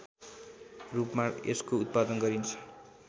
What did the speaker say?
रूपमा यसको उत्पादन गरिन्छ